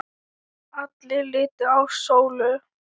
Allir litu á Sólu.